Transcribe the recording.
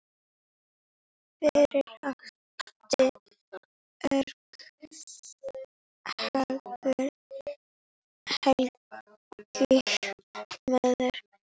Fyrir átti Örn Helgu Móeiði.